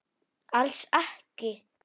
Alls ekki.